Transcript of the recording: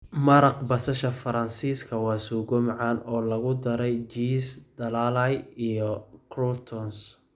Maraq basasha Faransiiska waa suugo macaan oo lagu daray jiis dhalaalay iyo croutons.